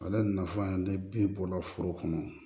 Ale nafa tɛ bin bɔla foro kɔnɔ